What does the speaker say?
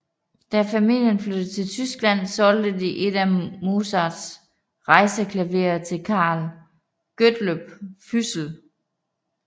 Da familien flyttede til Tyskland solgte de et af Mozarts rejseklaverer til Carl Gottlob Füssel